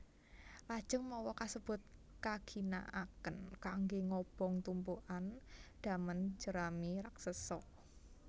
Lajeng mawa kasebut kaginakaken kanggé ngobong tumpukan damen jerami raksesa